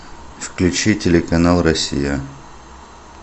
включи телеканал россия